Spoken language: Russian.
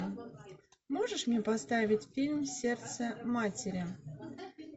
можешь мне поставить фильм сердце матери